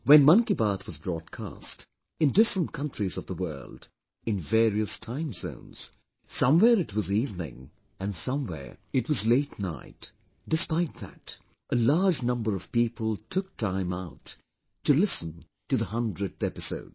When 'Mann Ki Baat' was broadcast, in different countries of the world, in various time zones, somewhere it was evening and somewhere it was late night... despite that, a large number of people took time out to listen to the 100th episode